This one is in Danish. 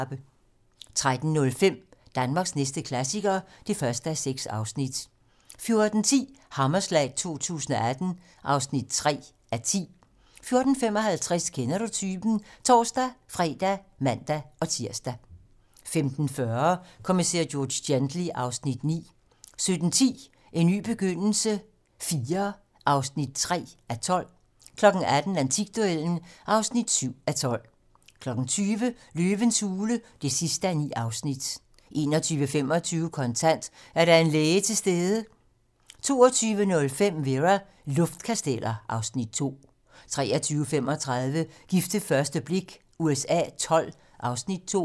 13:05: Danmarks næste klassiker (1:6) 14:10: Hammerslag 2018 (3:10) 14:55: Kender du typen? (tor-fre og man-tir) 15:40: Kommissær George Gently (Afs. 9) 17:10: En ny begyndelse IV (3:12) 18:00: Antikduellen (7:12) 20:00: Løvens hule (9:9) 21:25: Kontant: Er der en læge til stede? 22:05: Vera: Luftkasteller (Afs. 2) 23:35: Gift ved første blik USA XII (Afs. 2)